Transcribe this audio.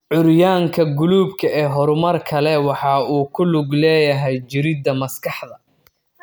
Curyaanka guluubka ee horumarka leh waxa uu ku lug leeyahay jirridda maskaxda.